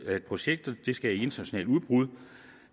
at projektet skal i internationalt udbud